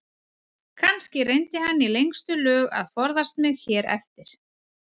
Kannski reyndi hann í lengstu lög að forðast mig hér eftir.